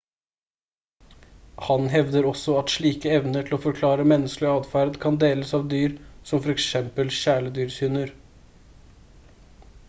han hevder også at slike evner til å forklare menneskelig atferd kan deles av dyr som for eksempel kjæledyrshunder